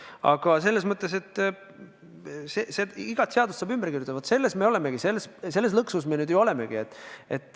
Aga selles mõttes, et igat seadust saab ümber kirjutada, me lõksus ju nüüd olemegi.